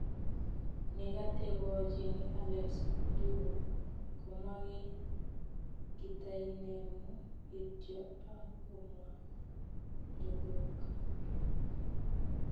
Negategochini Alex njuguk komwa kiy, katainemu kityo agomwa"njukuk"